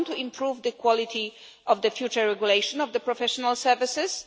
We want to improve the quality of the future regulation of professional services.